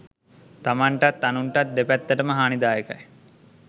තමන්ටත් අනුන්ටත් දෙපැත්තටම හානිදායකයි.